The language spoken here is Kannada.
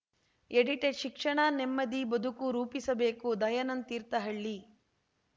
ಎಡಿಟೆಡ್‌ ಶಿಕ್ಷಣ ನೆಮ್ಮದಿ ಬದುಕು ರೂಪಿಸಬೇಕು ದಯಾನಂದ್‌ ತೀರ್ಥಹಳ್ಳಿ